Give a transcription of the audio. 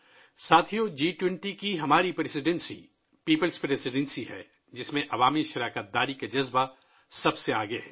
ساتھیو ، ہماری جی 20 کی صدارت ایک عوامی صدارت ہے، جس میں عوامی شرکت کا جذبہ سب سے اوپر ہے